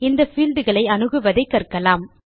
இந்த fieldகளை அணுவதைக் கற்கலாம்